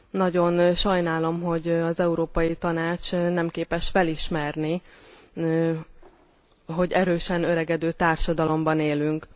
Nagyon sajnálom, hogy az Európai Tanács nem képes felismerni, hogy erősen öregedő társadalomban élünk.